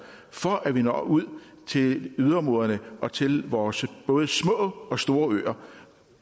for at vi når ud til yderområderne og til vores både små og store øer